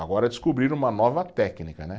Agora descobriram uma nova técnica, né?